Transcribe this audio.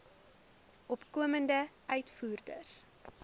opkomende uitvoerders